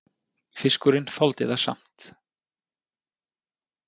Fiskurinn þoldi það samt